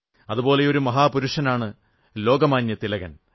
അതുപോലെയൊരു മഹാപുരുഷനാണ് ലോകമാന്യതിലകൻ